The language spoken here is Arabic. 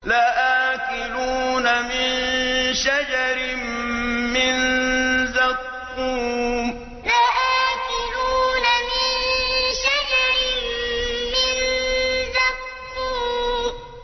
لَآكِلُونَ مِن شَجَرٍ مِّن زَقُّومٍ لَآكِلُونَ مِن شَجَرٍ مِّن زَقُّومٍ